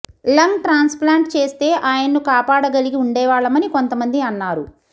lung transplant చేస్తే ఆయన్ను కాపాడగలిగి ఉండేవాళ్లమని కొంతమంది అన్నారు